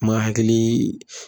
Ma hakiliii.